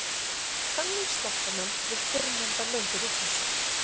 þannig sleppa menn við fyrrnefnda lönguvitleysu